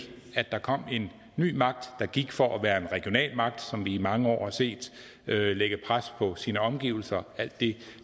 der kom en ny magt der gik for at være en regional magt som vi i mange år har set lægge pres på sine omgivelser alt det